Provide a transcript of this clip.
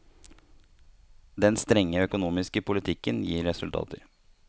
Den strenge økonomiske politikken gir resultater.